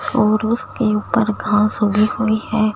और उसके ऊपर घास उगी हुई है।